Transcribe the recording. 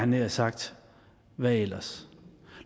nær sagt hvad ellers